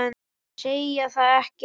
Segja það ekki rétt.